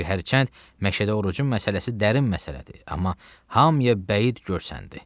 Çünki hərçənd Məşəd Orucun məsələsi dərin məsələdir, amma hamıya bəid görsəndi.